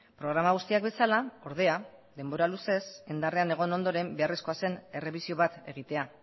programa guztiak bezala ordea denbora luzez indarrean egon ondoren beharrezkoa zen errebisio bat egitea